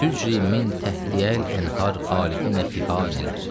Təcəri min təhti əlhənu xalidinə fəhanələr.